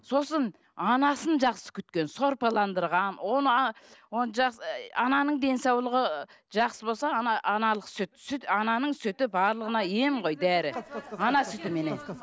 сосын анасын жақсы күткен сорпаландырған оны ананың денсаулығы жақсы болса аналық сүт сүт ананың сүті барлығына ем ғой дәрі ана сүтіменен